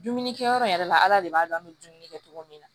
Dumuni kɛyɔrɔ in yɛrɛ la ala de b'a dɔn an bɛ dumuni kɛ cogo min na